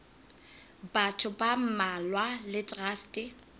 batho ba mmalwa le traste